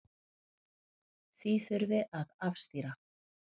Því þurfi að afstýra.